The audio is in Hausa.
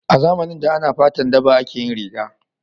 A zamanin da ana da fatan daba ake yin riga